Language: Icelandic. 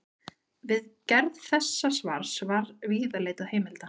Við gerð þessa svars var víða leitað heimilda.